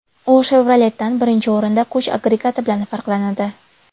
U Chevrolet’dan, birinchi o‘rinda, kuch agregati bilan farqlanadi.